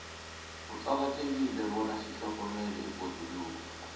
kuqakathekile bona sitlhogomele ibhoduluko